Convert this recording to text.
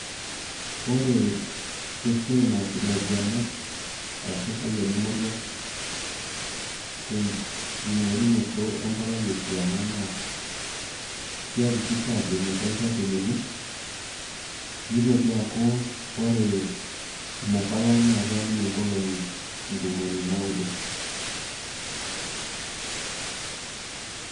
Ore esiai naas ilainguanak arashu irpayiani moruak tenking'orunoto empalai e kiama pee iakikisha ajo ninche ilchakenini nitoki aaku ore ina palai naa keeya ninye nkolong'i ntomoni naudo.